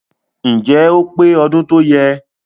Ǹjẹ́ ó pé ọdún tọ́yẹ?